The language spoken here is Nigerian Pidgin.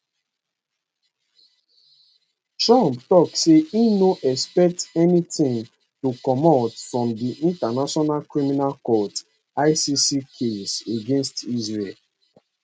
trump tok say e no expect anytim to comot from di international criminal court icc case against israel